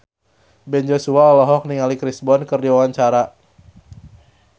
Ben Joshua olohok ningali Chris Brown keur diwawancara